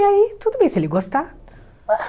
E aí, tudo bem, se ele gostar.